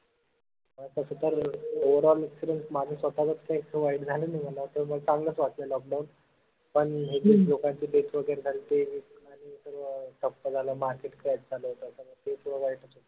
अं तस तर overallexperience माझ स्वतःचत इतकं काय वाईट झालं नाई मला त उलट चांगलंच वाटलं lockdown पन लोकांची death वगैरे झाली ते एक आनि सर्व ठप्प झालं market एक का दोन तासामध्ये ते थोडं वाईटच होत.